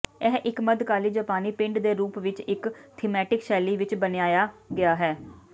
ਇਹ ਇੱਕ ਮੱਧਕਾਲੀ ਜਾਪਾਨੀ ਪਿੰਡ ਦੇ ਰੂਪ ਵਿੱਚ ਇੱਕ ਥੀਮੈਟਿਕ ਸ਼ੈਲੀ ਵਿੱਚ ਬਣਾਇਆ ਗਿਆ ਹੈ